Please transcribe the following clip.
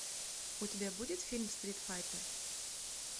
у тебя будет фильм стрит файтер